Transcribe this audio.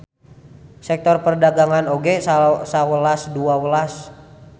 Sektor perdagangan oge sawelas dua welas.